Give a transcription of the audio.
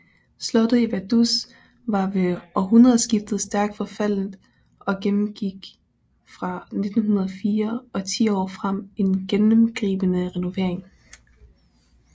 Slottet i Vaduz var ved århundredeskiftet stærkt forfaldent og gennemgik fra 1904 og 10 år frem en gennemgribende renovering